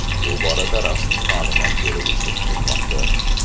Bu borada rasmiy ma’lumot berilishi kutilmoqda.